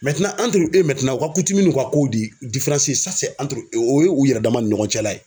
Mɛntenan a yiri e Mɛntenan u ka kutimu n'i ka kow de diferansi ye sa dɛ antiri e Mɛntenan o ye u yɛrɛ dama ni ɲɔgɔn cɛla ye